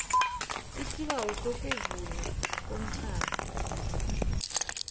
isibawo sokuvunywa komtjhado